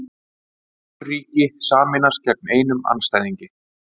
Fjögur ríki sameinast gegn einum andstæðingi